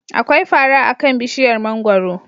Akwai fara akan bishiyar mangwaro.